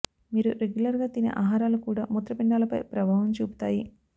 మీరు రెగ్యులర్ గా తినే ఆహారాలు కూడా మూత్రపిండాలపై ప్రభావం చూపుతాయి